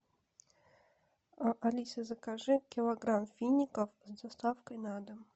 алиса закажи килограмм фиников с доставкой на дом